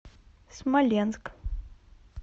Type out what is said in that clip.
смоленск